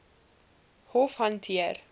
hof hanteer